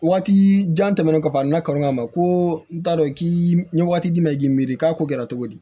Waati jan tɛmɛnen kɔfɛ a nana kanu kama ko n t'a dɔn k'i ye waati d'i ma k'i miiri k'a ko kɛra cogo di